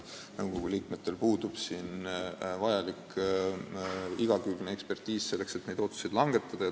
Nõukogu liikmetel puuduvad siin vajalikud ja igakülgsed eksperditeadmised, selleks et neid otsuseid langetada.